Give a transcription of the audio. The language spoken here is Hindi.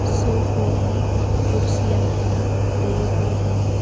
सोफे हैं कुर्सियां हैं टेबल हैं।